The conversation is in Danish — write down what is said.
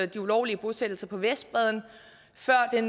de ulovlige bosættelser på vestbredden før det